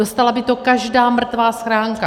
Dostala by to každá mrtvá schránka.